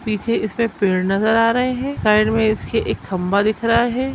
पीछे इसमें पेड़ नज़र आ रहे है साइड में इसके एक खम्बा दिख रहा है।